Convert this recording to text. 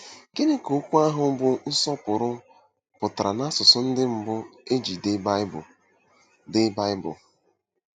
Gịnị ka okwu ahụ bụ́ “ nsọpụrụ” pụtara n’asụsụ ndị mbụ e ji dee Baịbụl? dee Baịbụl?